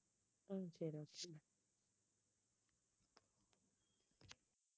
உம் சரி